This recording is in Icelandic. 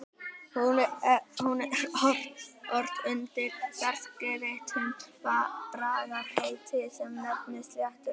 Hún er ort undir ferskeyttum bragarhætti sem nefnist sléttubönd.